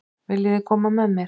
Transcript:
Viljiði koma með mér?